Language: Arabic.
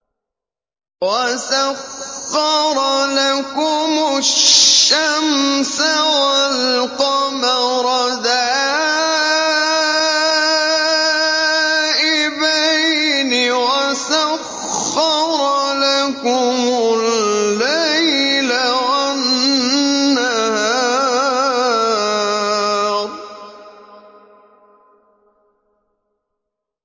وَسَخَّرَ لَكُمُ الشَّمْسَ وَالْقَمَرَ دَائِبَيْنِ ۖ وَسَخَّرَ لَكُمُ اللَّيْلَ وَالنَّهَارَ